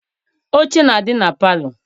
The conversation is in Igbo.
Oche na-adị na palọ.